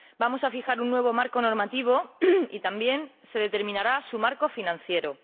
Vamos a fijar un nuevo marco normativo y también se determinará su marco financiero.